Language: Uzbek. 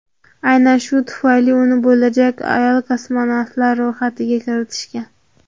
Aynan shu tufayli uni bo‘lajak ayol kosmonavtlar ro‘yxatiga kiritishgan.